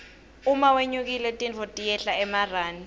uma wlnyukile tintfo tiyehla emarani